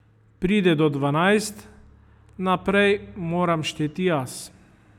Pride do dvanajst, naprej moram šteti jaz.